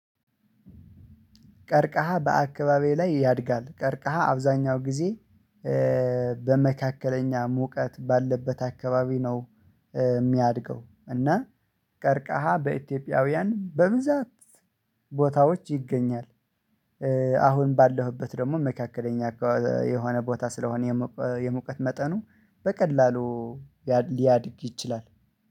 ቀርቀሃ በአካባቢዬ ላይ ያድጋል ቀርቀሃ አብዛኛው ጊዜ በመካከለኛ ሙቀት ባለበት አካባቢ ነው። የሚያድገው እና ቀርቀሃ በኢትዮጵያውያን በብዛት ቦታዎች ይገኛል። አሁን ባለሁበት ደግሞ መካከለኛ የሆነ ቦታ ስለሆነ የሙቀት መጠኑ በቀላሉ ሊያድግ ይችላል